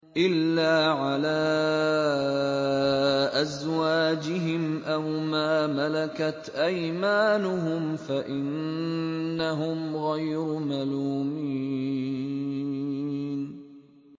إِلَّا عَلَىٰ أَزْوَاجِهِمْ أَوْ مَا مَلَكَتْ أَيْمَانُهُمْ فَإِنَّهُمْ غَيْرُ مَلُومِينَ